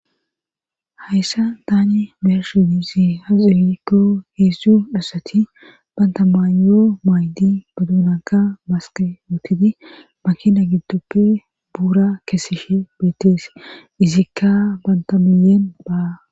Hayssa daani mershidi si ha xirikko heessu asati banta maayoo maaydi baduunaka maske wootiti makina giddoppe buura kesishe beettees izikka banta miyeen baa.